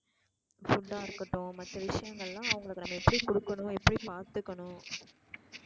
food டா இருக்கட்டும் மத்த விஷயங்கள்லாம் அவுங்கள நம்ம எப்படி குடுக்கணும் எப்படி பாத்துக்கணும்.